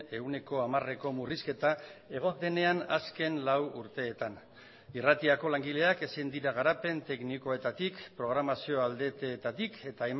ehuneko hamareko murrizketa egon denean azken lau urteetan irratiko langileak ezin dira garapen teknikoetatik programazio aldeetatik eta